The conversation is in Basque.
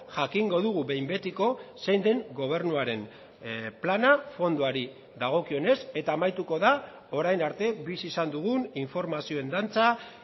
jakingo dugu behin betiko zein den gobernuaren plana fondoari dagokionez eta amaituko da orain arte bizi izan dugun informazioen dantza